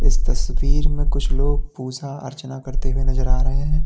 इस तस्वीर में कुछ लोग पूजा अर्चना करते हुए नजर आ रहे हैं।